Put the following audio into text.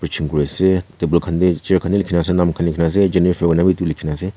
preaching kuriase table khan tae chair khan tae bi likhi na ase jenefer febu koina bi edu likhina ase.